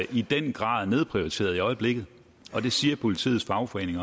i den grad er nedprioriteret i øjeblikket og det siger politiets fagforening